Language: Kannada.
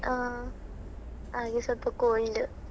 ಹಾ ಹಾಗೆ ಸ್ವಲ್ಪ cold .